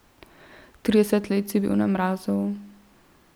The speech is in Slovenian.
Trideset let si bil na mrazu.